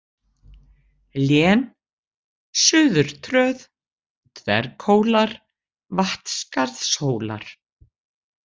Lén, Suðurtröð, Dverghólar, Vatnsskarðshólar